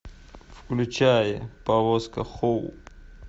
включай повозка хоу